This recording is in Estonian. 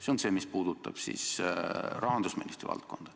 See on see, mis puudutab rahandusministri valdkonda.